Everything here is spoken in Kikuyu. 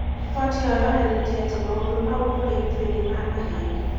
Riboti ĩyo yonanĩtie atĩ maũndũ maũ kũrĩ ĩthũĩ nĩ ma mahenĩ